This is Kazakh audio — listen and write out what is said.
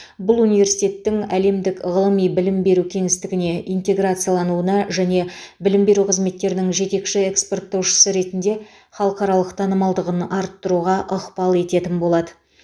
бұл университеттің әлемдік ғылыми білім беру кеңістігіне интеграциялануына және білім беру қызметтерінің жетекші экспорттаушысы ретінде халықаралық танымалдығын арттыруға ықпал ететін болады